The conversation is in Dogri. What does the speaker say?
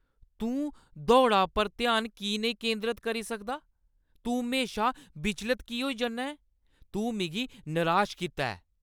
तूं दौड़ा पर ध्यान की नेईं केंद्रत करी सकदा? तूं म्हेशा विचलत होई जन्ना ऐं। तूं मिगी नराश कीता ऐ।